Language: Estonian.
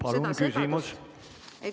Palun küsimus!